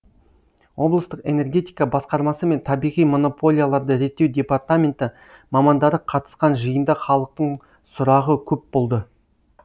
облыстық энергетика басқармасы мен табиғи монополияларды реттеу департаменті мамандары қатысқан жиында халықтың сұрағы көп болды